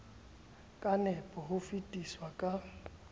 ka nepo ho fetisa ka